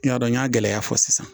N y'a dɔn n y'a gɛlɛya fɔ sisan